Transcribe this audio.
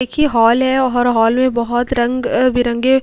एक ये हॉल है और हॉल में बोहोत रंग- बिरंगे --